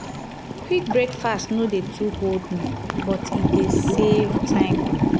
quick breakfast no dey too hold me but e dey save time.